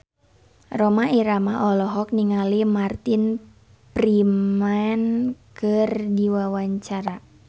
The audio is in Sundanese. Rhoma Irama olohok ningali Martin Freeman keur diwawancara